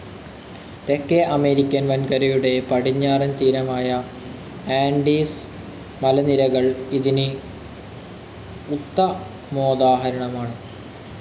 തേക്കേ American വൻകരയുടെ പടിഞ്ഞാറൻ തീരമായ ആൻഡീസ് മലനിരകൾ ഇതിന്‌ ഉത്തമോദാഹരണമാണ്‌